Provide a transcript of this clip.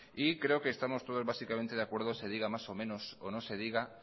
y creo que estamos todos básicamente de acuerdo se diga más o menos o no se diga